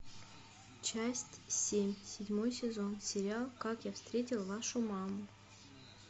часть семь седьмой сезон сериал как я встретил вашу маму